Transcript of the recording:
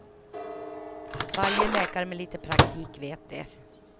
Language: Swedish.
Varje läkare med lite praktik vet det.